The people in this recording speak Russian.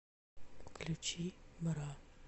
включи бра